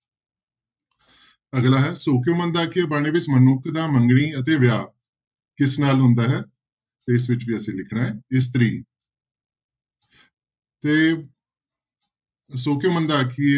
ਅਗਲਾ ਹੈ ਸੌ ਕਿਉਂ ਮੰਦਾ ਆਖੀਐ ਬਾਣੀ ਵਿੱਚ ਮਨੁੱਖ ਦਾ ਮੰਗਣੀ ਅਤੇ ਵਿਆਹ ਕਿਸ ਨਾਲ ਹੁੰਦਾ ਹੈ, ਤੇ ਇਸ ਵਿੱਚ ਵੀ ਅਸੀਂ ਲਿਖਣਾ ਹੈ ਇਸਤਰੀ ਤੇ ਸੌ ਕਿਉਂ ਮੰਦਾ ਆਖੀਐ